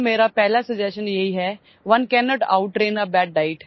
My first suggestion to all of you is 'one cannot out train a bad diet'